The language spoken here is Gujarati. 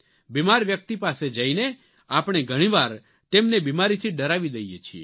બીમાર વ્યક્તિ પાસે જઇને આપણે ઘણી વાર તેમને બીમારીથી ડરાવી દઇએ છીએ